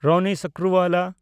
Ronnie Screwvala